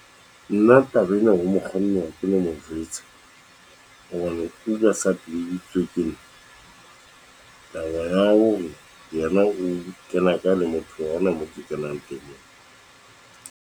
Nna taba ena ho mokganni ha ke no mojwetsa, hobane o sa jwetsitse ke nna taba ya hore yena o kena ka le motho eo, hona moo ke kenang teng.